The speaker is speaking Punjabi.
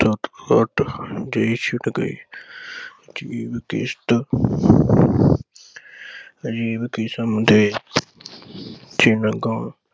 ਧੱਕ ਧੱਕ ਦੇਸ਼ ਗਏ। ਅਜੀਬ ਕਿਸ਼ਤ ਅਜੀਬ ਕਿਸਮ ਦੇ ਚਿਹਨ ਗਾਉਣ